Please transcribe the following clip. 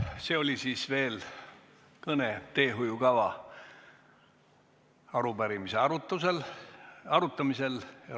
See oli siis nüüd veel kõne teehoiukava arupärimise arutamisel.